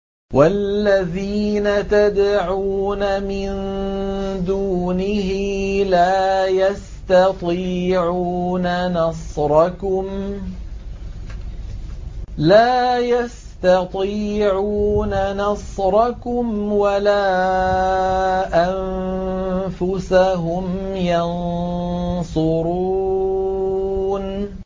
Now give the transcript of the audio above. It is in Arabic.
وَالَّذِينَ تَدْعُونَ مِن دُونِهِ لَا يَسْتَطِيعُونَ نَصْرَكُمْ وَلَا أَنفُسَهُمْ يَنصُرُونَ